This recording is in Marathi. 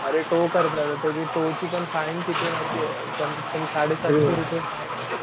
अरे खूप त्याची टो ची पण फाईन कितीये माहितीये कमीत कमी साडे सातशे रुपये फाईने.